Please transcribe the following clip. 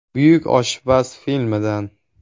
“Buyuk oshpaz” filmidan.